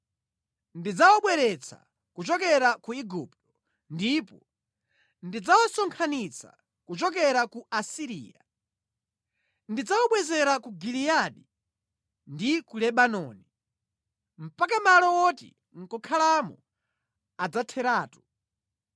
Ndidzawabweretsa kuchokera ku Igupto ndipo ndidzawasonkhanitsa kuchokera ku Asiriya. Ndidzawabwezera ku Giliyadi ndi ku Lebanoni, mpaka malo woti nʼkukhalamo adzatheratu.